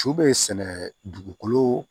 Su bɛ sɛnɛ dugukolo